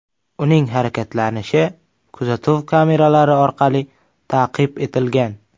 Uning harakatlanishi kuzatuv kameralari orqali taqib etilgan.